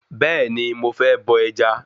Bẹ́ẹ̀ni, mo fẹ́ bọ ẹja